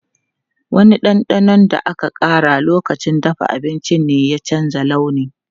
Wani ɗanɗanon da aka ƙara lokacin dafa abinci ne ya canza launi.